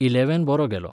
Eleven बरो गेलो.